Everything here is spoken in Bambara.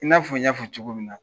I n'a fɔ n y'a fɔ cogo min na